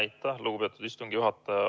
Aitäh, lugupeetud istungi juhataja!